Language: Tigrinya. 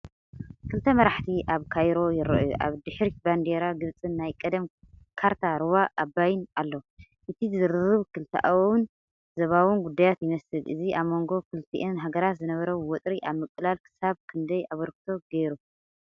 ክልተ መራሕቲ ኣብ ካይሮ ይረኣዩ። ኣብ ድሕሪት ባንዴራ ግብጽን ናይ ቀደም ካርታ ሩባ ኣባይን ኣሎ። እቲ ዝርርብ ክልተኣውን ዞባውን ጉዳያት ይመስል። እዚ ኣብ መንጎ ክልቲአን ሃገራት ዝነበረ ወጥሪ ኣብ ምቅላል ክሳብ ክንደይ ኣበርክቶ ገይሩ?